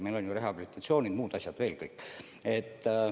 Me pakume ju rehabilitatsiooni ja muidki asju.